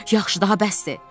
Yaxşı, daha bəsdir.